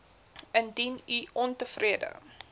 indien u ontevrede